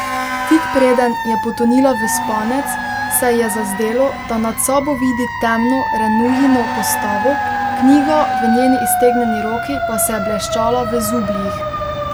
Tik preden je potonila v spanec, se ji je zazdelo, da nad sabo vidi temno Renujino postavo, knjiga v njeni iztegnjeni roki pa se je bleščala v zubljih.